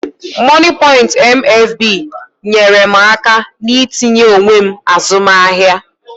Mọnịpọịnt MFB nyeere m aka n'itinye onwe m azụmahịa